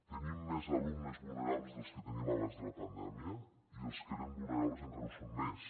tenim més alumnes vulnerables dels que teníem abans de la pandèmia i els que eren vulnerables encara ho són més